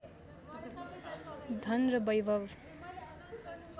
धन र वैभव